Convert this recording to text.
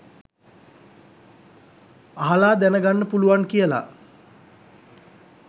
අහලා දැන ගන්ඩ පුලුවන් කියලා